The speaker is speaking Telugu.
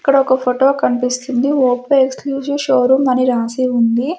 ఇక్కడొక ఫొటో కన్పిస్తుంది ఒప్పో ఎక్స్ క్లూజివ్ షోరూం అని రాసి ఉంది.